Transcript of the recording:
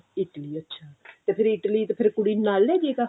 Italy ਅੱਛਾ ਤੇ Italy ਫੇਰ ਕੁੜੀ ਨੂੰ ਨਾਲ ਲੈਜੇਗਾ